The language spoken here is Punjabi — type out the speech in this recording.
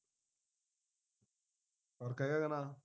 ਫਰਕ ਹੈਗਾ ਕੇ ਨਾਂ